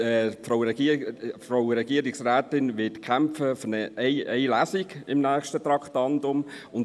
Die Frau Regierungsrätin wird im nächsten Traktandum für eine einzige Lesung kämpfen.